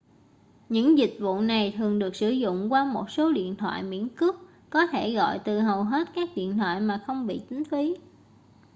những dịch vụ này thường được sử dụng qua một số điện thoại miễn cước có thể gọi từ hầu hết các điện thoại mà không bị tính phí